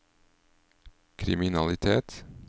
kriminalitet